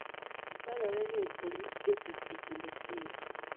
Dwarore ni orit jotich e kinde keyo.